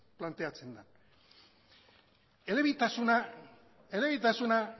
planteatzen da elebitasuna elebitasuna